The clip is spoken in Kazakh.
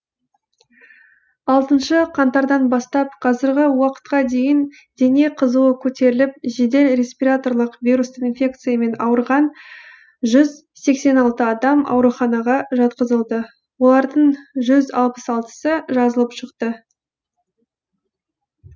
алтыншы қаңтардан бастап қазіргі уақытқа дейін дене қызуы көтеріліп жедел респираторлық вирустық инфекциямен ауырған жүз сексен алтысы адам ауруханаға жатқызылды олардың жүз алпыс алтысы жазылып шықты